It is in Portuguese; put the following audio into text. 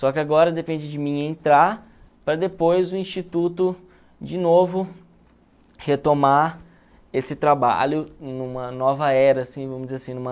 Só que agora depende de mim entrar para depois o Instituto, de novo, retomar esse trabalho numa nova era, assim, vamos dizer assim numa